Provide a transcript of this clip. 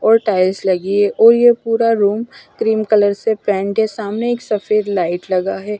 और टाइल्स लगी है और ये पूरा रूम क्रीम कलर से पेंट है सामने एक सफेद लाइट लगा है।